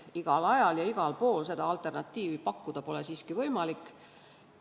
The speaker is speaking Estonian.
Igal ajal ja igal pool seda alternatiivi pakkuda pole siiski võimalik.